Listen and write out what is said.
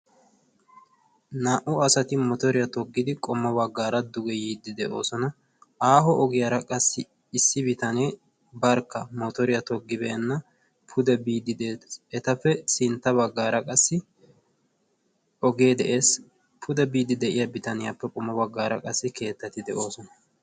naa'u asati motoriya toggidi yiidi sinta bagaara beetoosona. aaaho ogiyara qassi issi bitanee motoriya togibeenage beetees. sinta bagaara qassi ogee de'ees. pude biidi de'iya bitanniyappe qommo bagaara qassi keettati de'oosona.